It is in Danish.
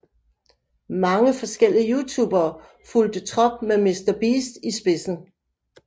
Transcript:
Mange forskellige Youtubere fulgte trop med Mr Beast i spidsen